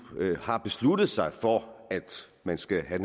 har besluttet sig for at man skal have